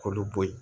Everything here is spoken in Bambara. K'olu bɔ yen